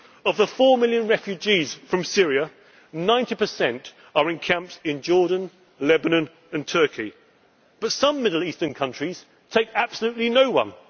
response. Of the four million refugees from Syria, 90 are in camps in Jordan, Lebanon and Turkey, and yet some Middle Eastern countries take absolutely